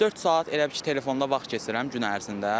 Dörd saat elə bil ki, telefonda vaxt keçirəm gün ərzində.